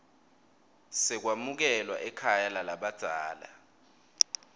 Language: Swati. sekwamukelwa ekhaya lalabadzela